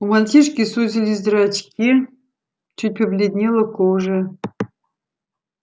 у мальчишки сузились зрачки чуть побледнела кожа